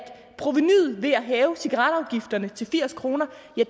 provenuet ved at hæve cigaretafgifterne til firs kroner